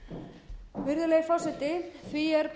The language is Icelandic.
áætlana virðulegi forseti því er